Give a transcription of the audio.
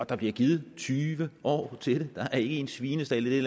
der bliver givet tyve år til det der er en svinestald i det